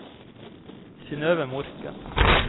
Synnøve Morken